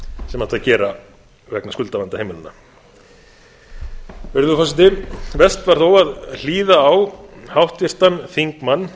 sem ætti að gera vegna skuldavanda heimilanna virðulegur forseti verst var þó að hlýða á háttvirtan þingmann